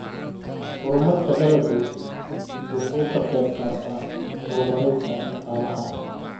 Horumarka dalaggu wuxuu ka qayb qaataa horumarinta dhaqaalaha.